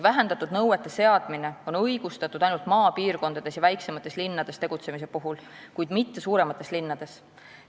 Vähendatud nõuete seadmine on õigustatud ainult maapiirkondades ja väiksemates linnades tegutsemise puhul, kuid mitte suuremates linnades.